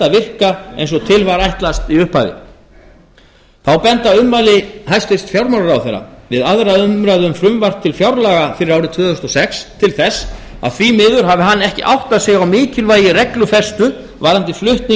virka eins og til var ætlast í upphafi þá benda ummæli fjármálaráðherra við aðra umræðu um fjárlög ársins tvö þúsund og sex til þess að því miður hafi hann ekki áttað sig á mikilvægi reglufestu varðandi flutning